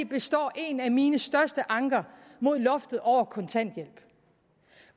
består en af mine største anker mod loftet over kontanthjælp